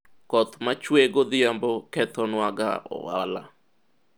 koth machuwe godhiembo kethonwa ga ohala